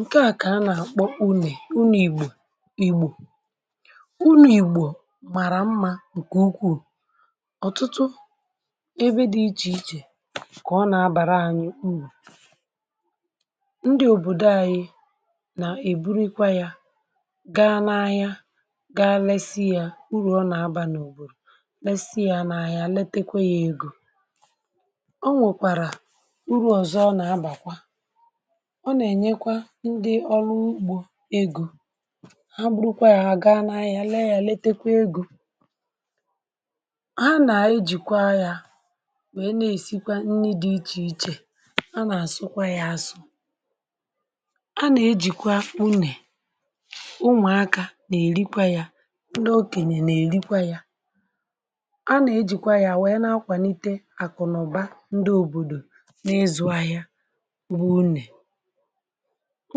Ǹkèa ka a nà-àkpọ une; une Ìgbò! Unù Ìgbò màrà mmȧ ǹkè ukwuù. Ọ̀tụtụ ebe dị̇ ichè ichè ka ọ nà-abàra ȧnyị̇ u̇rù. Ndị òbòdò ȧnyị̇ nà-èburukwa yȧ gaa n’ahịa, gaa lesị yȧ urù ọ nà-abà n’òbodo; lesị yȧ n’ahịa, letekwe yȧ egȯ. O nwèkwàrà urù ọ̀zọ ọ nà-abàkwa ndị ọrụ ugbȯ egȯ ha bụrụkwa yȧ, ha gaa n’anya lee ya, letekwa egȯ ha nà-ejìkwa ya wee na-èsikwa nni dị̇ ichè ichè. Ha nà-àsụkwa ya asụ. A nà-ejìkwa unè ụmuàakȧ na-èrikwa ya. Ndị okènè na-èrikwa ya. A nà-ejìkwa ya wee na-akwànite àkụ̀nụ̀ba ndị òbòdò na-ịzụ̇ ahịa. O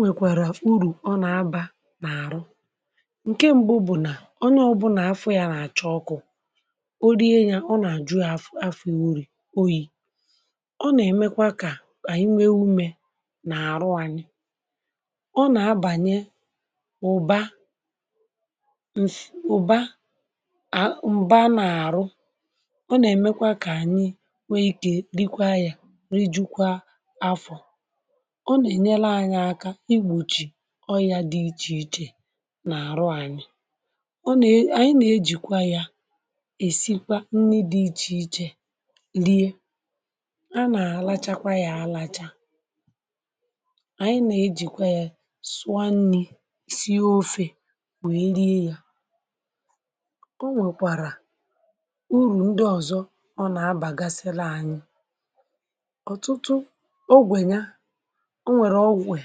nwèkwàrà urù ọ nà-abà n’àrụ. Ńke m̀bu bụ̀ nà ọnye, ọbụ̀nà afọ̇ yȧ nà-àchọ ọkụ, o rie yȧ, ọ nà-àjụ̇ afọ̀ orì oyi̇. Ọ nà-èmekwa kà ànyị nwee umė n’àrụ anyị. Ọ nà-abànye ụ̀ba ụ̀ba a mbaa n’àrụ. Ọ nà-èmekwa kà ànyị nwee ikė rịkwa yȧ, rijukwa afọ̀ ọna enyere anyi aka igbochi ọrịȧ dị ichè ichè nà-àrụ ànyị. Ọ nà ànyị nà-ejìkwa yȧ èsikwa nni dị̇ ichè ichè Lie!. A nà-àlachakwa yȧ àlacha. Ànyị nà-ejìkwa yȧ sụọ nni, si ofė we rie yȧ. O nwèkwàrà urù ndị ọ̀zọ ọ nà-abàgasịla ànyị ọ̀tụtụ ọgwe ya ọnwere ọtutu ọgwe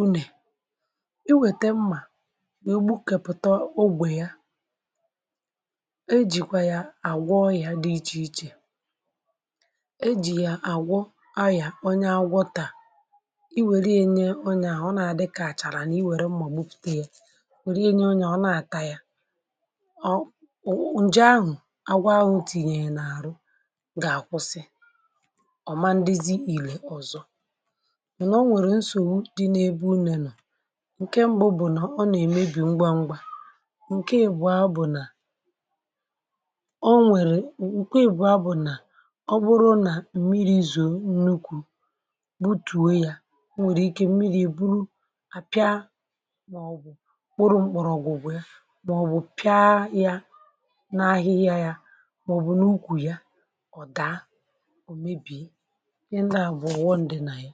une. I wète mmà wegbukèpụ̀tà ogwè ya, e jìkwà yà àgwọ ọyà dị ichè ichè. E jì yà àgwọ ọỳà. Onye agwọtà, i wère ya nye onye ahụ̀ Ọ na-adịkà àchàrà nà i wère mmà gbụpụ̀te yȧ wère enye onye à, ọ na-àtà yà ọ̀. Nje ahụ̀ agwọ ahụ̀ tìnyère ya n’àrụ gà-àkwụsị. Ọ̀ ma ndị zị ìlè ọ̀zọ.mana ọnwere nsogbu di nebe ue une di: Ńke mbụ bụ̀ nà ọ nà-èmebì ngwa ngwa. Ńke èbú̀a bụ̀ nà ọ nwèrè ńke èbú̀a bụ̀ nà ọbụrụ Nà mmiri zoò nnukwù bụ̀tùo yȧ, onwèrè ike mmiri èbụrụ àpịa, màọbụ̀ kpụrụ mkpọ̀rọ̀gwụ̀ wee, màọbụ̀ pịa yȧ n’ahịhịa yȧ màọbụ̀ n’ukwù yȧ Ọ̀da òmebìe. ịhe ndia bụ̀ ọghọm dị nà yà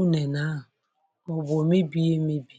unènè a, màọ̀bụ̀ omebìe emebì.